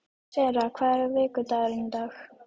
Sera, hvaða vikudagur er í dag?